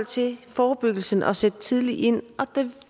til forebyggelsen er vigtigt at sætte tidligt ind og der